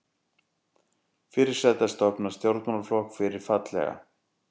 Fyrirsæta stofnar stjórnmálaflokk fyrir fallega